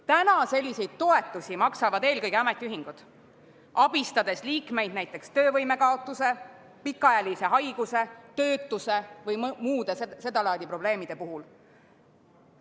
Praegu maksavad selliseid toetusi eelkõige ametiühingud, abistades liikmeid näiteks töövõime kaotuse, pikaajalise haiguse, töötuks jäämise või muude seda laadi probleemide puhul.